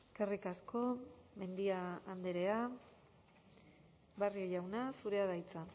eskerrik asko mendia andrea barrio jauna zurea da hitza